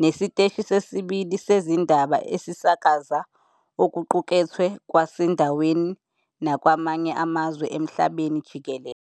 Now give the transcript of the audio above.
'nesiteshi sesibili sezindaba esisakaza okuqukethwe kwasendaweni nakwamanye amazwe emhlabeni jikelele.